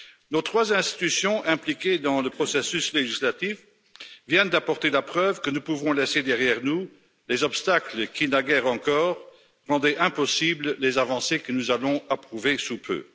Nos trois institutions impliquées dans le processus législatif viennent d'apporter la preuve que nous pouvons laisser derrière nous les obstacles qui, naguère encore, rendaient impossibles les avancées que nous allons approuver sous peu.